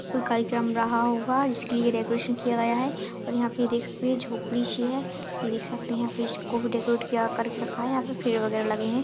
कोई कार्यक्रम रहा होगा इसके लिए डेकोरेशन किया गया है और यहाँ पे देख सकते है झोपड़ी सी है ये देख सकते है फिश को भी डेकोरेट किया करके रखा है यहाँ पे पेड़ वगैर लगे है।